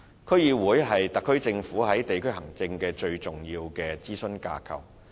區議會是特區政府在地區行政的最重要諮詢架構。